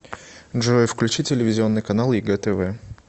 джой включи телевизионный канал егэ тв